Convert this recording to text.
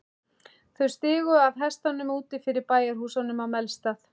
Þau stigu af hestunum úti fyrir bæjarhúsunum á Melstað.